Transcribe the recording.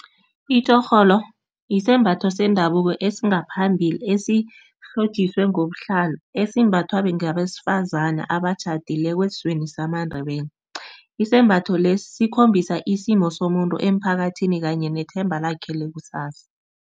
Itjhorholo isembatho sendabuko esingaphambili esihlotjiswe ngobuhlalo, esimbathwa ngabesifazani abatjhadileko esizweni samaNdebele. Isembatho lesi sikhombisa isimo somuntu emphakathini kanye nethemba lakhe lekusasa.